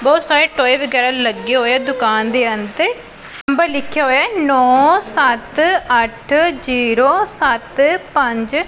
ਬਹੁਤ ਸਾਰੇ ਟੋਏ ਵਗੈਰਾ ਲੱਗੇ ਹੋਏ ਹੈ ਦੁਕਾਨ ਦੇ ਅੰਦਰ ਨੰਬਰ ਲਿੱਖਿਆ ਹੋਇਆ ਹੈ ਨੋਂ ਸੱਤ ਅੱਠ ਜੀਰੋ ਸੱਤ ਪੰਜ।